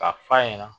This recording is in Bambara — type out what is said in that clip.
K'a f'a ɲɛna